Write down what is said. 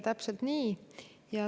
Täpselt nii.